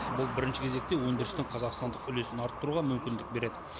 бұл бірінші кезекте өндірістің қазақстандық үлесін арттыруға мүмкіндік береді